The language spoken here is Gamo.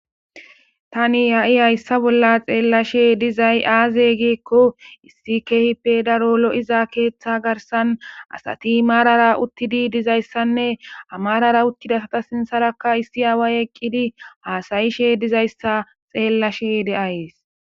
tani ha7i hayssa bolla xeellashe dizay aaze geekko issi keehippe daro lo7iza keeththa garsan asati maarara uttidi dizayssanne amarara uttidasata sinsarakka issi aaway eqqidi haasayishe dizayssa xeellashe deayes